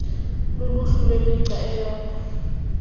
luluhlu lwemigca eyodwa